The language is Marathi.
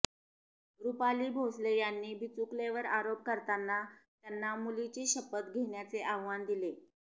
रुपाली भोसले यांनी बिचुकलेंवर आरोप करताना त्यांना मुलीची शपथ घेण्याचे आव्हान दिले